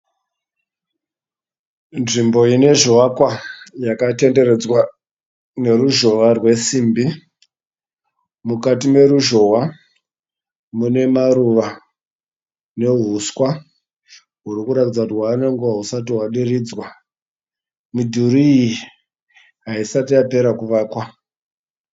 Nzvimbo ine zvivakwa yakatenderedzwa neruzhowa rwesimbi. Mukati meruzhowa mune maruva neuswa huri kuratidza kuti hwave nenguva husati hwadiridzwa. Midhuri iyi haisati yapera kuvakwa.